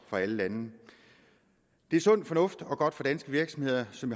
alle lande det er sund fornuft og godt for danske virksomheder som